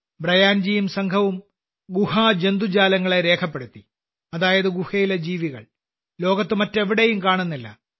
ബ്രയാൻജിയും സംഘവും ഗുഹജന്തുജാലങ്ങളെ രേഖപ്പെടുത്തി അതായത് ഗുഹയിലെ ജീവികൾ ലോകത്ത് മറ്റെവിടെയും കാണുന്നില്ല